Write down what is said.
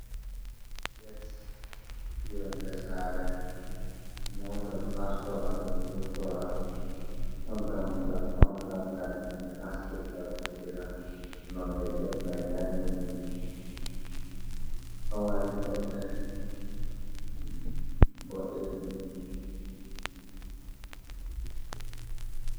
Gate yonde sare mota nastora to mi vurtora don bo dammugal pamarolgal hinbe nastirta vurtura ,nonde gate mai danedum domari tobbe bodejum.